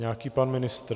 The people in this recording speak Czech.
Nějaký pan ministr.